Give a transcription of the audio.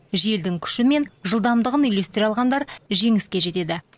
желдің күші мен жылдамдығын үйлестіре алғандар жеңіске жетеді